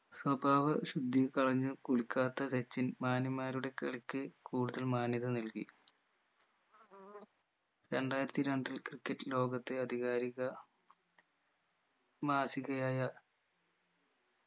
സ്വഭാവ ശുദ്ധിയി കളഞ്ഞ് കുളിക്കാത്ത സച്ചിൻ മാന്യന്മാരുടെ കളിക്ക് കൂടുതൽ മാന്യത നൽകി രണ്ടായിരത്തി രണ്ടിൽ ക്രിക്കറ്റ് ലോകത്തെ അധികാരിക മാസികയായ